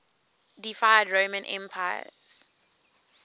deified roman emperors